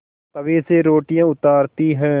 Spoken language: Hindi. तवे से रोटियाँ उतारती हैं